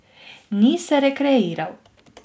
Ni se rekreiral.